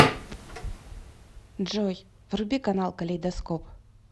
джой вруби канал калейдоскоп